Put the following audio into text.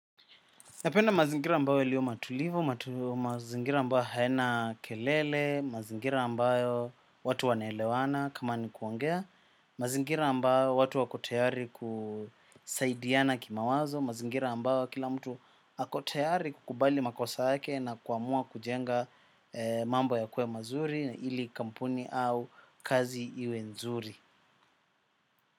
Napenda mazingira ambayo liyo matulivu, mazingira ambayo hayana kelele, mazingira ambayo watu wanaelewana kama ni kuongea, mazingira ambayo watu wakotayari kusaidiana kimawazo, mazingira ambayo kila mtu akotayari kukubali makosa yake na kuamua kujenga mambo yakue mazuri na ili kampuni au kazi iwe nzuri.